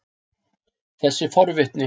þessi forvitni